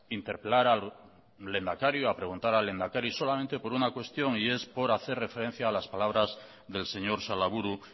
interpelar al lehendakari o preguntar al lehendakari solamente por una cuestión y es por hacer referencia a las palabras del señor salaburu